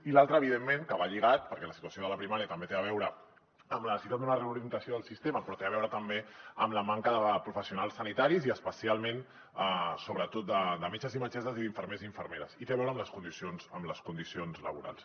i l’altra evidentment que hi va lligada perquè la situació de la primària també té a veure amb la necessitat d’una reorientació del sistema però té a veure també amb la manca de professionals sanitaris i especialment sobretot de metges i metgesses i d’infermers i infermeres i té a veure amb les condicions laborals